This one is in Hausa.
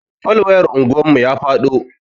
Fol wayar anguwan mu ya faɗo.